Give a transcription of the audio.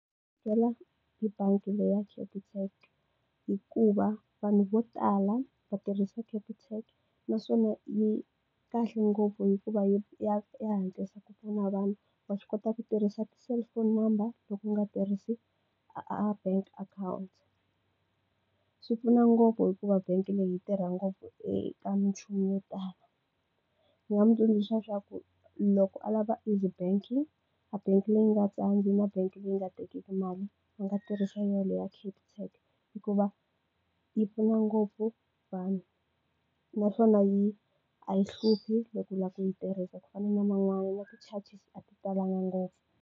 Hi bangi leyi ya Capitec. Hikuva vanhu vo tala va tirhisa Capitec, naswona yi kahle ngopfu hikuva ya ya hatlisa ku pfuna vanhu. Wa swi kota ku tirhisa ti-cellphone number loko u nga tirhisi a a bank account. Swi pfuna ngopfu hikuva bangi leyi yi tirha ngopfu eka minchumu yo tala. Ndzi nga n'wi tsundzuxa leswaku loko a lava easy banking, a bangi leyi nga tsandzi na bangi leyi nga tekiki mali, a nga tirhisa yona leyi ya Capitec hikuva yi pfuna ngopfu vanhu. Naswona yi a yi hluphi loko u lava ku yi tirhisa ku fana na man'wana ma nga na ti-charges, a talanga ngopfu.